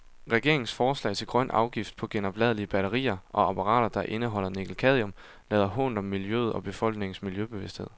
Regeringens forslag til grøn afgift på genopladelige batterier og apparater, der indeholder nikkelcadmium, lader hånt om miljøet og befolkningens miljøbevidsthed.